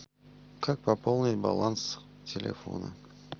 как пополнить баланс телефона